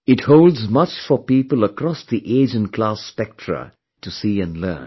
It holds much for people across the age and class spectra to see and learn